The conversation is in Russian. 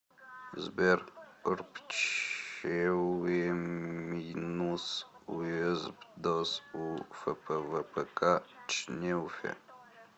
сбер рпчеуемйнус уезпдос у фпвпк чнеуфе